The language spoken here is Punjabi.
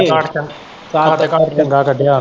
ਕੱਦ ਕਾਟ, ਕੱਦ ਕਾਟ ਚੰਗਾ ਕੱਡਿਆ ਵਾ।